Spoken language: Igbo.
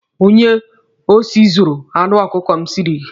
Onye osi zuuru anụ ọkụkọ m siiri gị.